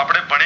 આપડે ભણીયે